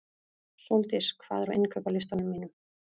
Sóldís, hvað er á innkaupalistanum mínum?